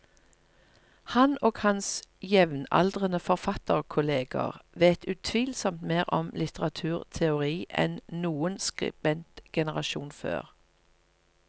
Han og hans jevnaldrende forfatterkolleger vet utvilsomt mer om litteraturteori enn noen skribentgenerasjon før.